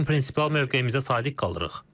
Lakin prinsipial mövqeyimizə sadiq qalırıq.